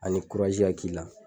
Ani ka k'i la